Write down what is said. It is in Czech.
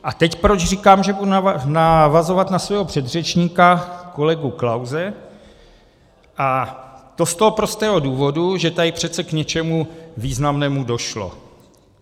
A teď proč říkám, že budu navazovat na svého předřečníka kolegu Klause, a to z toho prostého důvodu, že tady přece k něčemu významnému došlo.